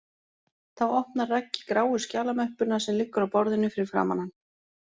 Þá opnar Raggi gráu skjalamöppuna sem liggur á borðinu fyrir framan hann